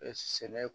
Ɛɛ sɛnɛ